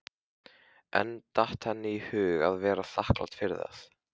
En datt henni í hug að vera þakklát fyrir það?